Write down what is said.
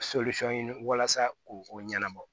ɲini walasa ko o ɲɛnabɔ